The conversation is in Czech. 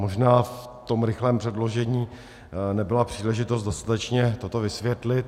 Možná v tom rychlém předložení nebyla příležitost dostatečně toto vysvětlit.